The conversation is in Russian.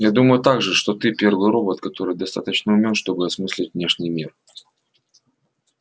я думаю также что ты первый робот который достаточно умён чтобы осмыслить внешний мир